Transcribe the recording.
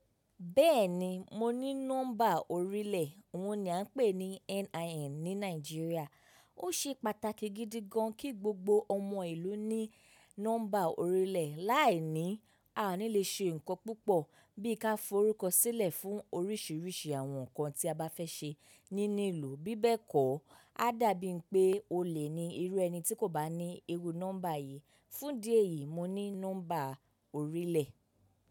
Bẹ́ẹ̀ni mo ní nọ́mbà orílẹ̀, ohun ni à ń pè ní NIN ní Nàìjíríà. Ó ṣe pàtàkì gidi gan kí gbogbo ọmọ ìlú ní nọ́mbà orílẹ̀. Láì ní, a ò ní le ṣe nǹkan púpọ̀ bí i ká forúkọsílẹ̀ fún oríṣìíríṣìí àwọn nǹkan tí a bá fẹ́ ṣe nínú ìlú. Bí bẹ́ẹ̀ kọ́, á dàbí i pé o lè ni irú ẹni tí kò bá ní iru nọ́mbà yìí. Fún idí ẹ̀yìí mo ní nọ́mbà orílẹ̀.